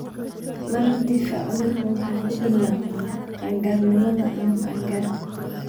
Marar dhif ah, cudurku wuxuu ku bilaabmaa qaan-gaarnimada ama qaan-gaarka.